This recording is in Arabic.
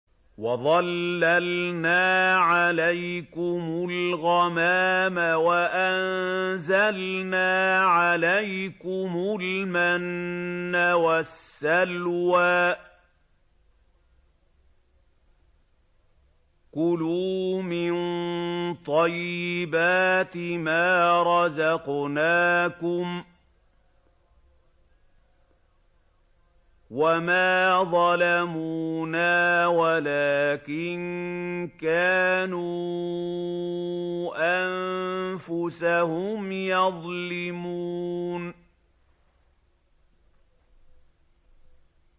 وَظَلَّلْنَا عَلَيْكُمُ الْغَمَامَ وَأَنزَلْنَا عَلَيْكُمُ الْمَنَّ وَالسَّلْوَىٰ ۖ كُلُوا مِن طَيِّبَاتِ مَا رَزَقْنَاكُمْ ۖ وَمَا ظَلَمُونَا وَلَٰكِن كَانُوا أَنفُسَهُمْ يَظْلِمُونَ